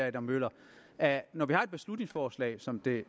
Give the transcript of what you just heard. adam møller at når vi behandler et beslutningsforslag som det